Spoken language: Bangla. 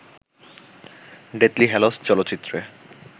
ডেথলি হ্যালোস চলচ্চিত্রে